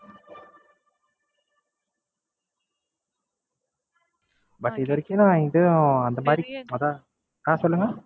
But இதுவரைக்கும் நான் எங்கயும் அந்த மாதிரி அதான் அஹ் சொல்லுங்க